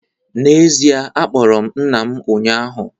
N’ezie, akpọrọ m nna m ụnyahụ